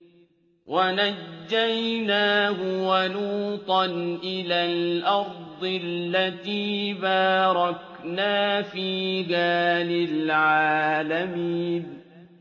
وَنَجَّيْنَاهُ وَلُوطًا إِلَى الْأَرْضِ الَّتِي بَارَكْنَا فِيهَا لِلْعَالَمِينَ